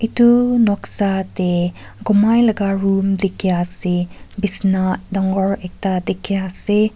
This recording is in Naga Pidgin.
itu noksa teh gumai laga room dikhi ase bisina dangor ekta dikhi ase.